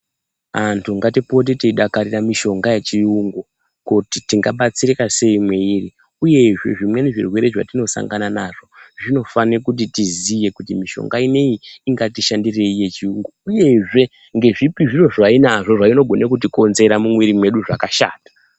Antu ngatipote teidakarira mushonga wechiyungu kuti tingabatsirika sei mweiri uyezve zvimweni zvirwere zvatinosangana nazvo zvinofane kuti tiziye kuti mishonga inoyi ingatishandirei yechiyungu, uyezve ngezvipi zviro zvainazvo zvainogone kutikonzera mumwiri mwedu zvakashata.